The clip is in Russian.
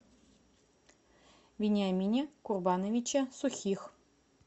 вениамине курбановиче сухих